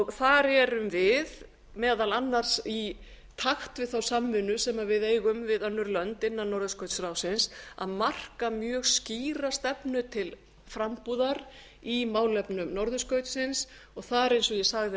þar erum við meðal annars í takt við þá samvinnu sem við eigum við önnur lönd innan norðurskautsráðsins að marka mjög skýra stefnu til frambúðar í málefnum norðurskautsins og þar eins og ég sagði